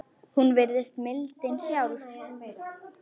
Hún virðist mildin sjálf.